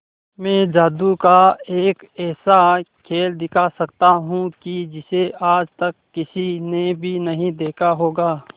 मैं जादू का एक ऐसा खेल दिखा सकता हूं कि जिसे आज तक किसी ने भी नहीं देखा होगा